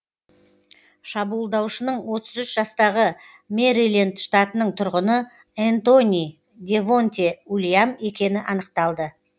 шабуылдаушының отыз үш жастағы мэриленд штатының тұрғыны энтони девонте уильям екені анықталды